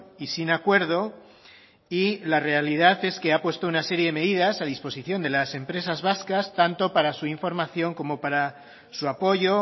y sin acuerdo y la realidad es que ha puesto una serie de medidas a disposición de la empresas vascas tanto para su información como para su apoyo